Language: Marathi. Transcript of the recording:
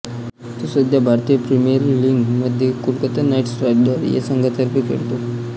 सध्या तो भारतीय प्रिमियर लीग मध्ये कोलकाता नाईट रायडर्स या संघातर्फे खेळतो